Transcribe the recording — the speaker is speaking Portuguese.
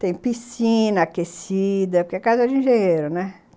Tem piscina aquecida, porque é casa de engenheiro, né?